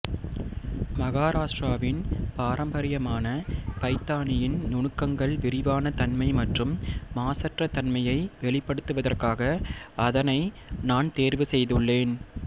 மகாராஷ்டிராவின் பாரம்பரியமான பைதானியின் நுணுக்கங்கள் விரிவான தன்மை மற்றும் மாசற்ற தன்மையை வெளிப்படுத்துவதற்காக அதனை நான் தேர்வு செய்துள்ளேன்